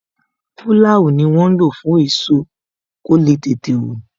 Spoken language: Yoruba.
Pulau ni wọn ń lo fún èso, kó le tètè wù